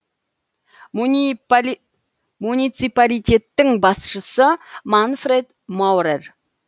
муниципалитеттің басшысы манфред маурер